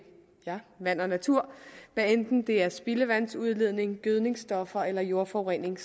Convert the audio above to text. ja vand og natur hvad enten det er spildevandsudledning gødningsstoffer eller jordforurening